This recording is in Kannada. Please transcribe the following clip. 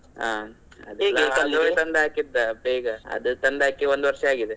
ಹಾ ಹಾಕಿದ್ದ ಬೇಗ. ಅದು ತಂದ್ ಹಾಕಿ ಒಂದು ವರ್ಷ ಆಗಿದೆ